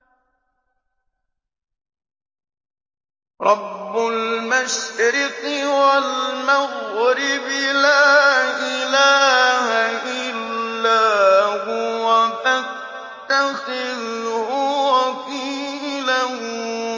رَّبُّ الْمَشْرِقِ وَالْمَغْرِبِ لَا إِلَٰهَ إِلَّا هُوَ فَاتَّخِذْهُ وَكِيلًا